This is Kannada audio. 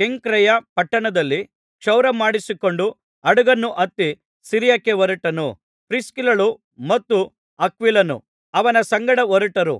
ಕೆಂಖ್ರೆಯ ಪಟ್ಟಣದಲ್ಲಿ ಕ್ಷೌರಮಾಡಿಸಿಕೊಂಡು ಹಡಗನ್ನು ಹತ್ತಿ ಸಿರಿಯಕ್ಕೆ ಹೊರಟನು ಪ್ರಿಸ್ಕಿಲ್ಲಳೂ ಮತ್ತು ಅಕ್ವಿಲನೂ ಅವನ ಸಂಗಡ ಹೊರಟರು